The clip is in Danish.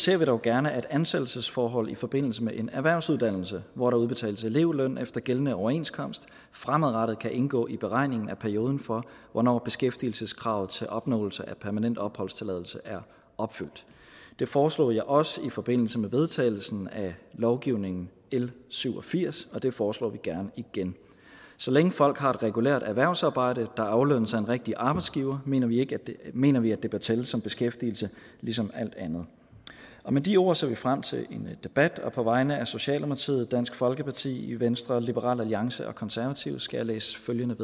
vi dog gerne at ansættelsesforhold i forbindelse med en erhvervsuddannelse hvor der udbetales elevløn efter gældende overenskomst fremadrettet kan indgå i beregningen af perioden for hvornår beskæftigelseskravet til opnåelse af permanent opholdstilladelse er opfyldt det foreslog jeg også i forbindelse med vedtagelsen af lovgivningen l syv og firs og det foreslår vi gerne igen så længe folk har et regulært erhvervsarbejde der aflønnes af en rigtig arbejdsgiver mener vi mener vi at det bør tælle som beskæftigelse ligesom alt andet med de ord ser vi frem til en debat og på vegne af socialdemokratiet dansk folkeparti venstre liberal alliance og konservative skal jeg læse følgende